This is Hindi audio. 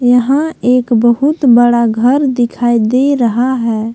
यहां एक बहुत बड़ा घर दिखाई दे रहा है।